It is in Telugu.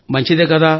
మంచిదే కదా